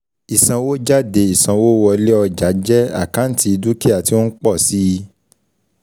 Ìsanwójáde Ìsanwówọlé ọjà jẹ́ àkáǹtì dúkìá tí ó ń pọ̀ síi